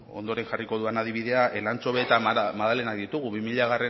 ondoren jarriko dudan adibidea elantxobe eta magdalenak ditugu bi milagarrena